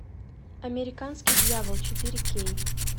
американский дьявол четыре кей